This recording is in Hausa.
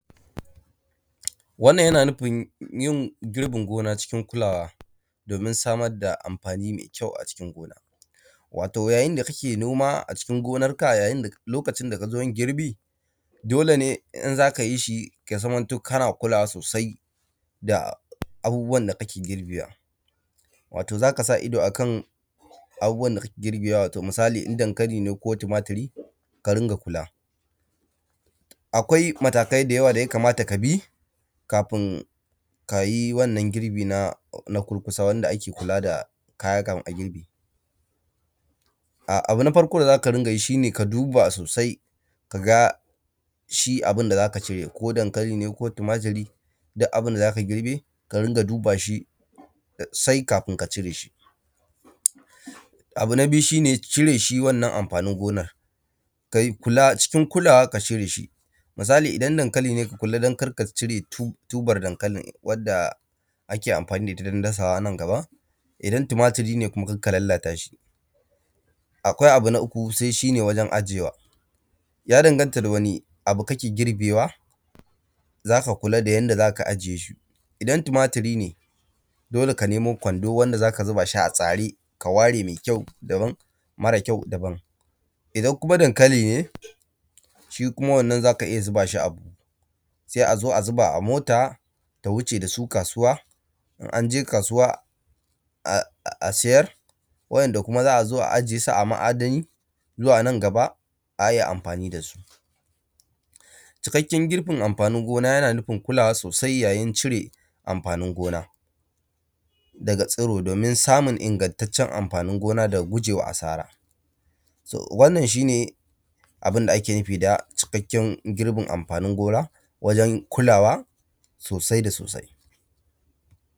Wannan yana nufin yin girbin gona cikin kulawa domin samar da amfani mai kyau a cikin gona. Wato yayinda kake noma a cikin gonarka lokacin da kazoyin girbi dole ne inzaka yishi ya zamto kana kulawa sosai da abubuwan da kake girbewa, wato zakasa ido da kyau a abubuwan da kake girbewa wato misali in dankali ne ko tumaturi ka rinƙa kula. Akwai matakai da yawa da yakamata kabi kafin kayi wannan girbi na kurkusa wanda ake kula da kaya kafin a girbe. [um]Abu na farko da zaka dingayi shine ka duba sosai kaga shi abunda zaka cire ko dankali ne ko tumaturi duk abunda zaka girbe ka rinƙa dubashi sosai kafun ka cireshi. Abu na biyu shine cireshi wannan amfanin gonan ka kula cikin kulawa ka cireshi misali idan dankali ka kula dan karka cire tubar wadda ake amfani da itta dan dasawa anan gaba. Idan tumaturi ne kuma kayi a hankali dan karka lalatashi. Akwai abu na uku sai shine wajen ajiyewa, ya dandanta daga wani abu kake girbewa zaka kulada yanda zaka a jiyeshi idan tunaturi ne dole ka nemo Kwando wanda zaka zubashi a tsari ka ware mai kyau daban mara kyau daban. Idan kuma dankali ne shiwannan zaka iyya zubashi a buhu, sai a zubashi mota ta wuce dasu kasuwa in anje kasuwa [um]a siyar wa ‘enda kuma za’azo a ajesu a ma’adani zuwa nan gaba ayi amfani dasu. Cikakken girbin amfanin gona yana nufin kulawa sosai yayin cire amfanin gona daga tsiro domin samun ingattacen amfanin gona daga gujewa sara, wannan shine abunda ake nufi da cikakken girbin amfanin gona dan kulawa sosai da sosai.